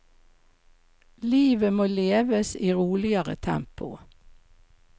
Livet må leves i roligere tempo.